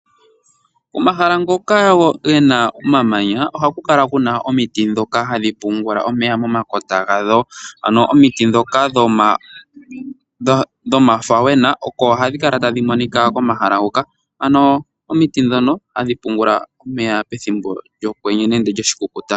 Komahala ngoka gena omamanya ohaku kala kuna omiti ndhoka hadhi pungula omeya momakota hadho. Omiti ndhoka dhomafawena oko hadhi monika komahala ngoka ano omiti ndhono hadhi pungula omeya pethimbo lyokwenye nenge lyoshikukuta